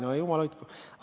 No jumal hoidku!